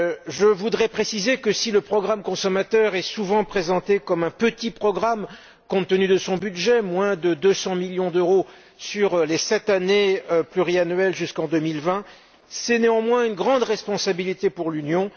Je voudrais préciser, que si le programme consommateurs est souvent présenté comme un petit programme compte tenu de son budget, moins de 200 millions d'euros sur les sept ans jusqu'en 2020, c'est néanmoins une grande responsabilité pour l'Union.